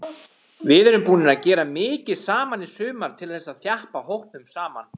Við erum búnir að gera mikið saman í sumar til þess að þjappa hópnum saman.